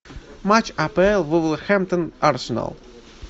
матч апл вулверхэмптон арсенал